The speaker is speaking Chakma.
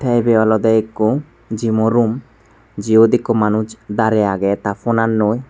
te ibey olodey ikko gym o room jiyot ikko manuj darey agey ta funan noi.